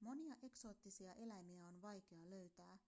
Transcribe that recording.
monia eksoottisia eläimiä on vaikea löytää